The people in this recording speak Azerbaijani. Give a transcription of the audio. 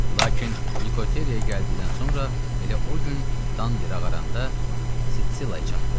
Lakin Nikoteraya gəldiyindən sonra elə o gün dan yeri ağaranda Sitsilaya çatdı.